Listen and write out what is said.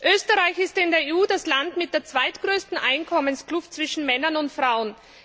Österreich ist in der EU das Land mit der zweitgrößten Einkommenskluft zwischen Männern und Frauen.